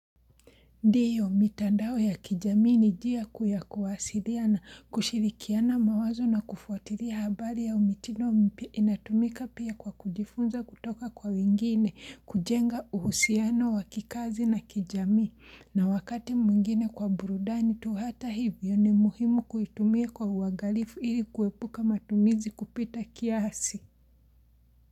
Ndiyo, mitandao ya kijamii ni njia kuu ya kuwasiriana na kushirikiana mawazo na kufuatiria habari au mitido mipya inatumika pia kwa kujifunza kutoka kwa wengine, kujenga uhusiano wa kikazi na kijamii, na wakati mwngine kwa burudani tu, hata hivyo ni muhimu kuitumia kwa uagalifu ili kuepuka matumizi kupita kiasi.